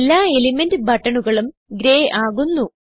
എല്ലാ എലിമെന്റ് ബട്ടണുകളും ഗ്രെയ് ആകുന്നു